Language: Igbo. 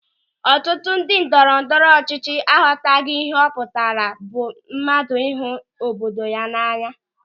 Ọtụtụ ndị ndọrọndọrọ ọchịchị aghọtaghị ihe ọ pụtara bụ mmadụ ịhụ obodo ya n'anya.